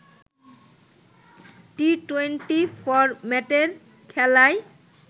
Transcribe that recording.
T twenty ফরম্যাটের খেলায়